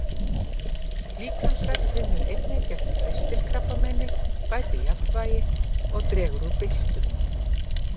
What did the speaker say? Líkamsrækt vinnur einnig gegn ristilkrabbameini, bætir jafnvægi og dregur úr byltum.